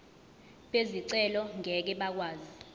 bezicelo ngeke bakwazi